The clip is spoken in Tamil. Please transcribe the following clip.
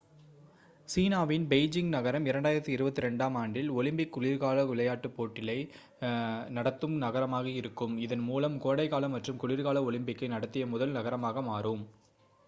சீனாவின் பெய்ஜிங் நகரம் 2022-ஆம் ஆண்டில் ஒலிம்பிக் குளிர்கால விளையாட்டுப் போட்டிளை நடத்தும் நகரமாக இருக்கும் இதன் மூலம் கோடைக்கால மற்றும் குளிர்கால ஒலிம்பிக்கை நடத்திய முதல் நகரமாக மாறும்